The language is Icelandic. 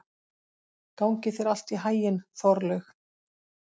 Gangi þér allt í haginn, Þorlaug.